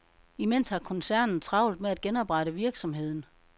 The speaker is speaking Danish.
Imens har koncernen travlt med at genoprette virksomheden.